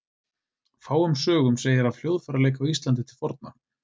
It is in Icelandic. Fáum sögum segir af hljóðfæraleik á Íslandi til forna.